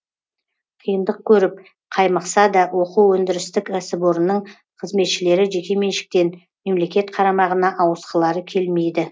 қиындық көріп қаймықса да оқу өндірістік кәсіпорынның қызметшілері жекеменшіктен мемлекет қарамағына ауысқылары келмейді